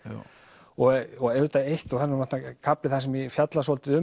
og auðvitað eitt og það er kafli þar sem ég fjalla svolítið